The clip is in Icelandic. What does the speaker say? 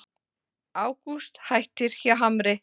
Ágúst hættir hjá Hamri